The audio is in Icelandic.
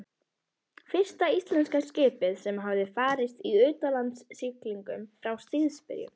Fyrsta íslenska skipið sem hafði farist í utanlandssiglingum frá stríðsbyrjun.